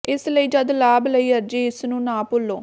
ਇਸ ਲਈ ਜਦ ਲਾਭ ਲਈ ਅਰਜ਼ੀ ਇਸ ਨੂੰ ਨਾ ਭੁੱਲੋ